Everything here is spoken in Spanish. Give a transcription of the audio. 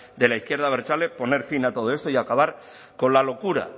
de la izquierda abertzale poner fin a todo esto y acabar con la locura